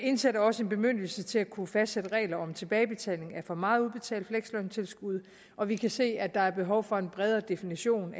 indsætter også en bemyndigelse til at kunne fastsætte regler om tilbagebetaling af for meget udbetalt fleksløntilskud og vi kan se at der er behov for en bredere definition